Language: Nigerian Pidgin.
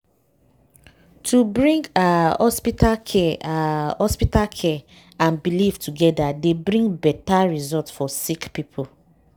wait- to bring ah hospital care ah hospital care and belief togeda dey bring beta result for sick poeple.